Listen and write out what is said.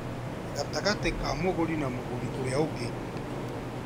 gatagatĩ ka mũgũri na mũgũri ũrĩa ũngĩ